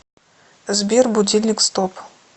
сбер будильник стоп